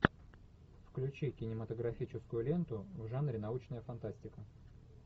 включи кинематографическую ленту в жанре научная фантастика